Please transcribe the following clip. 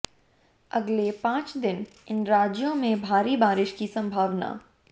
अगले पांच दिन इन राज्यों में भारी बारिश की संभावना